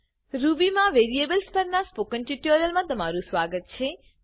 Ruby માં variables પર spoken ટ્યુટોરીયલમા તમારું સ્વાગત છે